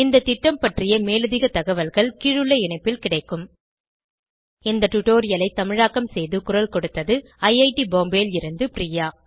இந்த திட்டம் பற்றிய மேலதிக தகவல்கள் கீழுள்ள இணைப்பில் கிடைக்கும் இந்த டுடோரியலை தமிழாக்கம் செய்து குரல் கொடுத்தது ஐஐடி பாம்பேவில் இருந்து பிரியா